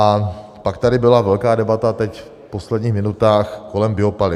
A pak tady byla velká debata teď v posledních minutách kolem biopaliv.